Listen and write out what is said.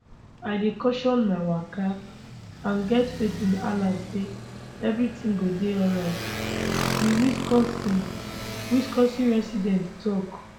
i dey caution my waka and get faith in allah say evri tin go dey alright di wisconsin wisconsin resident tok